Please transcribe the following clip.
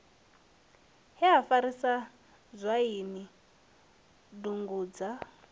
he ha farisa dzwaini dugudzha